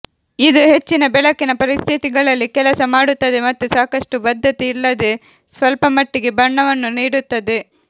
ಇದು ಹೆಚ್ಚಿನ ಬೆಳಕಿನ ಪರಿಸ್ಥಿತಿಗಳಲ್ಲಿ ಕೆಲಸ ಮಾಡುತ್ತದೆ ಮತ್ತು ಸಾಕಷ್ಟು ಬದ್ಧತೆ ಇಲ್ಲದೆ ಸ್ವಲ್ಪಮಟ್ಟಿಗೆ ಬಣ್ಣವನ್ನು ನೀಡುತ್ತದೆ